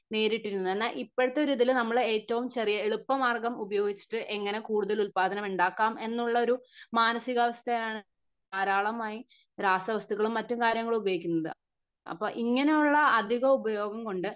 നേരിട്ടിരുന്നു എന്നാ ഇപ്പോഴത്തെ ഒരു ഇതിൽ നമ്മൾ ഏറ്റവും ചെറിയ എളുപ്പ മാർഗം ഉപയോഗിച്ചിട്ട് എങ്ങിനെ കൂടുതൽ ഉൽപാദനം ഉണ്ടാകാം എന്നുള്ളൊരു മാനസികാവസ്ഥയാണ് ധാരാളമായി രാസ വസ്തുക്കളും മറ്റും കാര്യങ്ങൾ ഉപയോഗിക്കുന്നത് അപ്പൊ ഇങ്ങനെ ഉള്ള അധിക ഉപയോഗം കൊണ്ട്